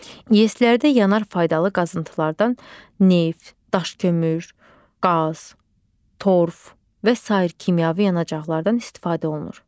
İES-lərdə yanar faydalı qazıntılardan - neft, daş kömür, qaz, torf və sair kimyəvi yanacaqlardan istifadə olunur.